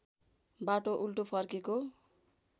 बाटो उल्टो फर्केको